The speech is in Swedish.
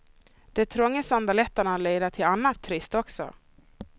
De trånga sandaletterna leder till annat trist också.